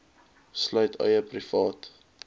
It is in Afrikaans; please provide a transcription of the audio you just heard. sluit eie privaat